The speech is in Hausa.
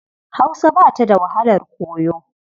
Hausa ba ta da wahalar koyo.